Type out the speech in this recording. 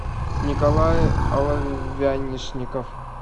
николай оловянишников